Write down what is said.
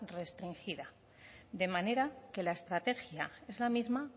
restringida de manera que la estrategia es la misma